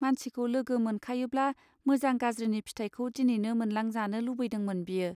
मानसिखौ लोगो मोनखायोब्ला मोजां गाज्रिनि फिथायखौ दिनैनो मोनलां जानो लुबैदोंमोन बियो.